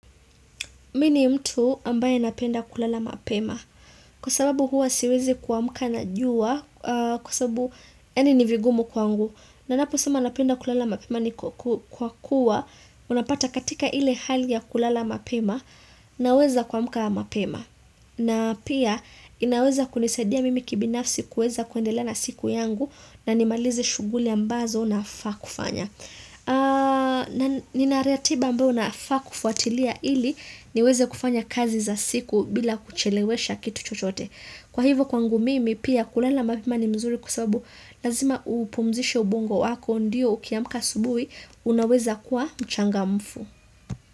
Mimi ni mtu ambaye napenda kulala mapema kwa sababu huwa siwezi kuamka na jua kwa sababu yani ni vigumu kwangu. Ninapo sema napenda kulala mapema ni kwa kuwa unapata katika ile hali ya kulala mapema na weza kuamka mapema. Na pia inaweza kunisadia mimi kibinafsi kuweza kuendelea na siku yangu na nimalize shughuli ambazo nafaa kufanya. Na nina ratiba ambayo nafaa kufuatilia ili niweze kufanya kazi za siku bila kuchelewesha kitu chochote Kwa hivo kwangu mimi pia kulala mapema ni mzuri kwa sababu lazima upumzishe ubongo wako ndiyo ukiyamka asubuhi unaweza kuwa mchangamfu.